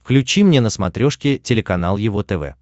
включи мне на смотрешке телеканал его тв